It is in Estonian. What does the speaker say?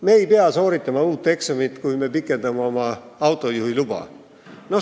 Me ei pea sooritama uut eksamit, kui me pikendame oma autojuhiluba.